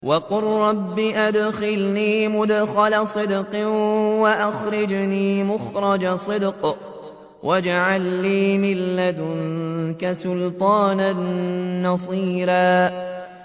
وَقُل رَّبِّ أَدْخِلْنِي مُدْخَلَ صِدْقٍ وَأَخْرِجْنِي مُخْرَجَ صِدْقٍ وَاجْعَل لِّي مِن لَّدُنكَ سُلْطَانًا نَّصِيرًا